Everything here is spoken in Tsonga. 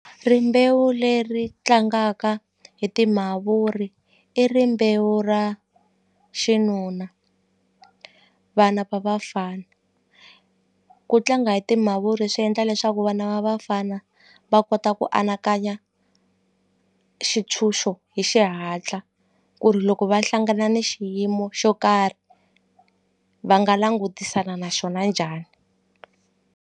Rimbewu leri tlangaka hi timavuri i rimbewu ra xinuna vana va vafana ku tlanga hi timavuri swi endla leswaku vana va vafana va kota ku anakanya xitshunxo hi xihatla ku ri loko va hlangana ni xiyimo xo karhi va nga langutisana na xona njhani.